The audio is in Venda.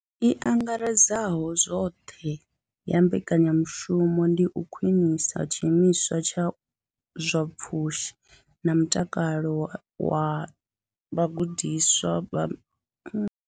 I angaredzaho zwoṱhe ya mbekanyamushumo ndi u khwinisa tshiimo tsha zwa pfushi na mutakalo zwa vhagudiswa vha.